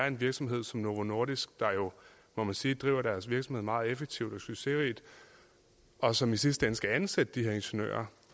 en virksomhed som novo nordisk der jo må man sige driver deres virksomhed meget effektivt og succesrigt og som i sidste ende skal ansætte de her ingeniører